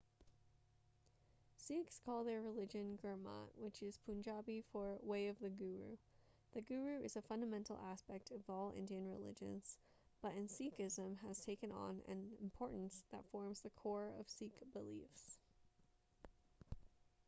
sikhs call their religion gurmat which is punjabi for way of the guru the guru is a fundamental aspect of all indian religions but in sikhism has taken on an importance that forms the core of sikh beliefs